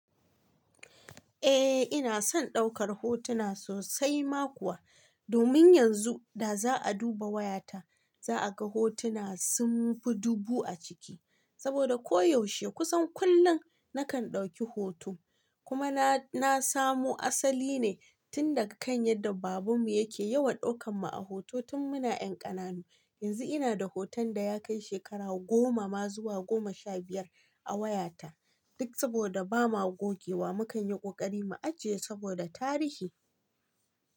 Eh ina son daukar hotuna sosai ma kuwa, domin yanzu da za a duba wayata za a ga hotuna sun fi dubu a ciki. Saboda koyaushe kusan kullum nakan dauki hoto, kumana na samo asali ne tun daga kan yadda babanmu yake yawan daukan mu a hoto tun muna 'yan ƙananu. Yanzu ina da hoton da ya kai shekaru goma ma zuwa goma sha biyar a wayata, duk saboda ba ma gogewa mu kan yi ƙoƙari mu ajiye saboda tarihi.